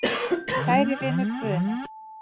Kæri vinur Guðni.